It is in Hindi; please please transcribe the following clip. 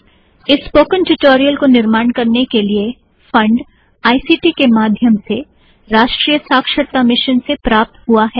इस स्पोकेन ट्यूटोरियल को निर्माण करने के लिए फंड आई सी टी के माध्यम से राष्ट्रीय साक्षरता मिशन से प्राप्त हुआ है